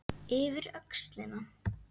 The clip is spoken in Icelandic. Yfir öxlina.